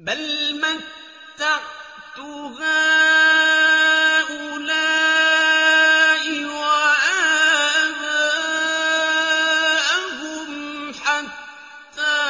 بَلْ مَتَّعْتُ هَٰؤُلَاءِ وَآبَاءَهُمْ حَتَّىٰ